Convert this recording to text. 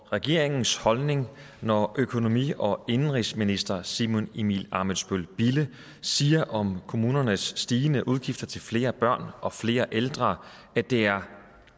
regeringens holdning når økonomi og indenrigsminister simon emil ammitzbøll bille siger om kommunernes stigende udgifter til flere børn og flere ældre at det er